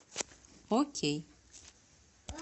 окей